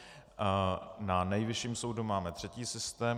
Na Nejvyšším soudu máme třetí systém.